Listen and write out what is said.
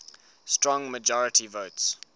strong majority votes